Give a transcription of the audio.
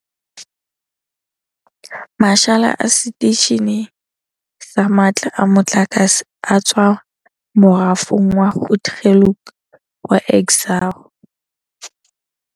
Mashala a seteishene sa matla a motlakase a tswa morafong wa Grootegeluk wa Exxaro.